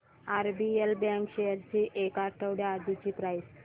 RBL bank shares ची एक आठवड्या आधीची प्राइस